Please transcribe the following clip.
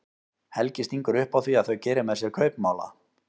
Helgi stingur upp á því að þau geri með sér kaupmála.